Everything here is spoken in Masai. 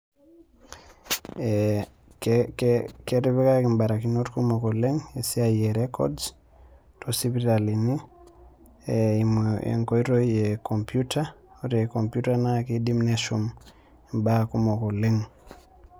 Ketipikaki mbarakinot kumok oleng esiai erecords tosipitalini eimu einkoitoi ecomputer , ore computer naa kidim neshum imba kumok oleng.